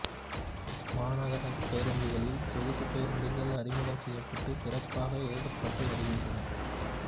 மாநகர பேருந்துகளில் சொகுசு பேருந்துகள் அறிமுகம் செய்யப்பட்டு சிறப்பாக இயக்கப்பட்டு வருகின்றன